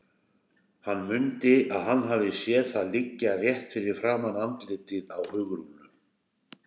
Hann mundi að hann hafði séð það liggja rétt fyrir framan andlitið á Hugrúnu.